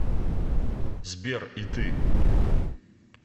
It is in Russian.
сбер и ты